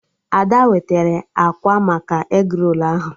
Ada wetara akwa maka egrolu ahụ